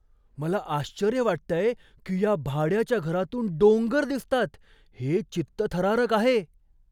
मला आश्चर्य वाटतंय की या भाड्याच्या घरातून डोंगर दिसतात. हे चित्तथरारक आहे!